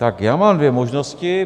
Tak já mám dvě možnosti.